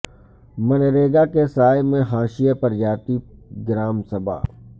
منریگا کے سائے میں حاشیہ پر جاتی گرام سبھا